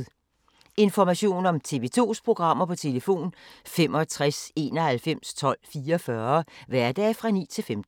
Information om TV 2's programmer: 65 91 12 44, hverdage 9-15.